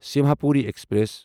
Simhapuri express